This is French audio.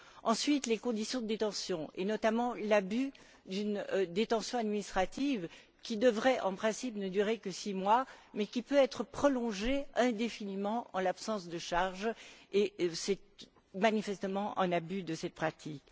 Ensuite, les conditions de détention et, notamment, l'abus de la détention administrative, qui devrait, en principe, ne durer que six mois mais qui peut être prolongée indéfiniment en l'absence de charges c'est manifestement un abus de cette pratique.